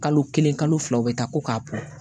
Kalo kelen kalo fila u bɛ taa ko k'a bɔ